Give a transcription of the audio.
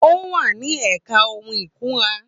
Ó wà ní ẹ̀ka ohun ìkunra.